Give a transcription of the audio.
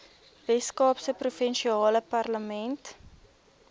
weskaapse provinsiale parlement